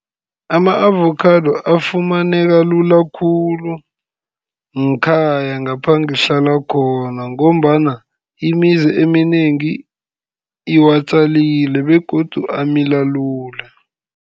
Ama-avokhado afumaneka lula khulu, ngkhaya ngapha ngihlala khona, ngombana imizi eminengi iwatjalile, begodu amila lula.